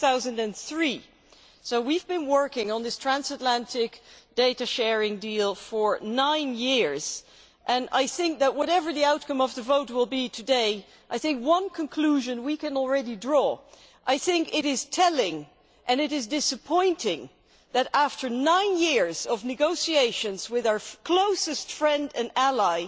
2003. We have been working on this transatlantic data sharing deal for nine years, and I think that whatever the outcome of today's vote one conclusion that we can already draw is that it is telling and disappointing that, after nine years of negotiations with our closest friend and ally,